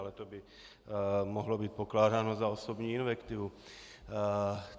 Ale to by mohlo být pokládáno za osobní invektivu.